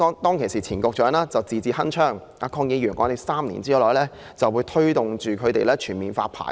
當時前局長字字鏗鏘，指3年內政府會推動全面發牌。